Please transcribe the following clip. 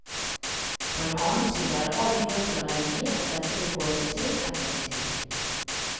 På den annen side er det all grunn til å regne med at dette vil gå seg til etter en tid.